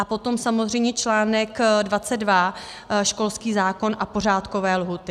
A potom samozřejmě článek 22 - školský zákon a pořádkové lhůty.